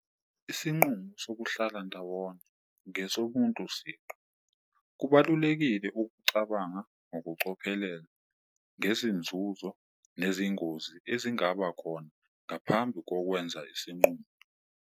Isinqumo sokuhlala ndawonye ngesomuntu siqu, kubalulekile ukucabanga ngokucophelela ngezinzuzo nezingozi ezingaba khona ngaphambi kokwenza isinqumo.